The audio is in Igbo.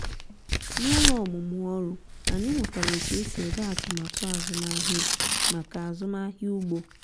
n'ụlọ ọmụmụ ọrụ anyị mụtara otu esi ede atụmatụ azụmahịa maka azụmahịa ugbo